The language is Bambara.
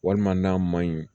Walima n'a ma ɲi